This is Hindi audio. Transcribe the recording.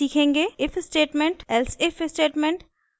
if statement elsif statement